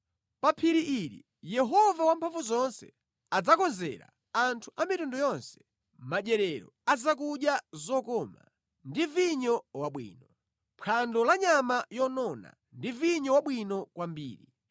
Pa phiri ili Yehova Wamphamvuzonse adzakonzera anthu a mitundu yonse madyerero a zakudya zokoma ndi vinyo wabwino. Phwando la nyama yonona ndi vinyo wabwino kwambiri.